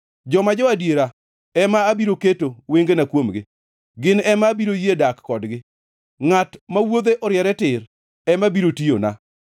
Joma jo-adiera ema abiro keto wengena kuomgi; gin ema abiro yie dak kodgi; ngʼat ma wuodhe oriere tir ema biro tiyona.